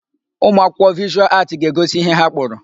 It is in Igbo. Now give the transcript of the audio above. Ụmụakwụkwọ Vịshụal Aatị ga-egosi ihe ha kpụrụ.